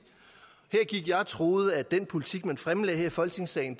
her gik jeg og troede at den politik man fremlagde i folketingssalen